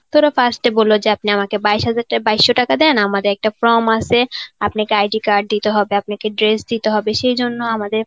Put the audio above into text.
তো ওরা first এ বলল যে আপনি আমাকে বাইশ হাজার টাকা বাইশশো টাকা দেন আমাদের একটা form আছে. আপনাকে ID card দিতে হবে, আপনাকে dress দিতে হবে. সেই জন্য আমাদের